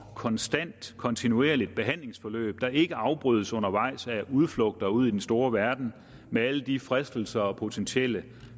konstant kontinuerligt behandlingsforløb der ikke afbrydes undervejs af udflugter ud i den store verden med alle de fristelser og potentielle